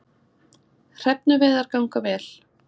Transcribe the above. Hrefnuveiðar ganga vel